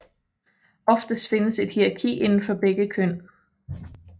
Oftest findes et hierarki indenfor begge køn